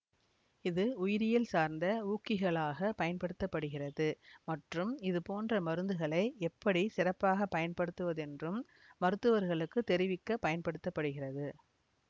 இது உயிரியல் சார்ந்த ஊக்கிகளாகப் பயன்படுத்த படுகிறது மற்றும் இது போன்ற மருந்துகளை எப்படி சிறப்பாக பயன்படுத்துவதென்றும் மருத்துவர்களுக்கு தெரிவிக்க பயன்படுத்த படுகிறது